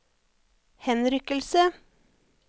henrykkelse